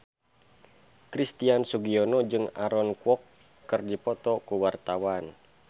Christian Sugiono jeung Aaron Kwok keur dipoto ku wartawan